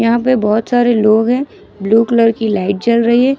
यहां पे बहुत सारे लोग हैं ब्लू कलर की लाइट जल रही हैं।